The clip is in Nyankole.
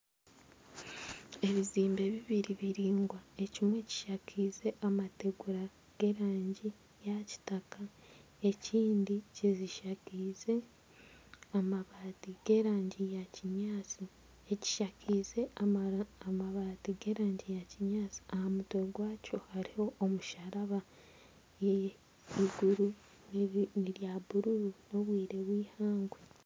Ebizimbe bibiri biraingwa ekimwe kishakeize amategura g'erangi ya kitaka ekindi kishakeize amabaati g'erangi ya kinyaatsi aha mutwe gwakyo hariho omusharaba iguru ni erya bururu n'obwire bw'eihangwe.